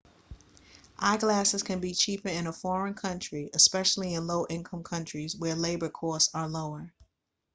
eyeglasses can be cheaper in a foreign country especially in low-income countries where labour costs are lower